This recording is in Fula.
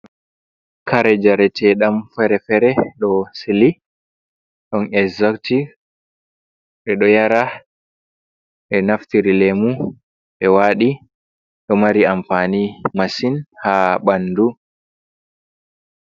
Kare njareteɗam fere-fere ɗo sili, ɗon exotik ɓeɗo yara, ɓenaftiri lemu ɓe waɗi ɗo mari amfani masin ha ɓandu.